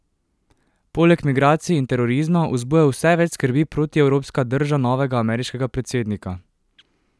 Poleg migracij in terorizma vzbuja vse več skrbi protievropska drža novega ameriškega predsednika.